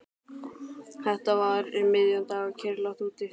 Þetta var um miðjan dag og kyrrlátt úti fyrir.